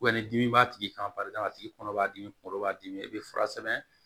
ni dimi b'a tigi kan paseke a tigi kɔnɔ b'a dimi kunkolo b'a dimi i bɛ fura sɛbɛn